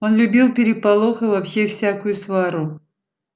он любил переполох и вообще всякую свару